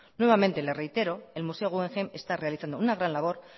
nuevamente le reitero que el museo guggenheim está realizando una gran labor